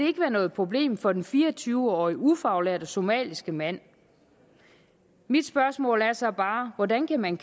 ikke være noget problem for den fire og tyve årige ufaglærte somaliske mand mit spørgsmål er så bare hvordan kan man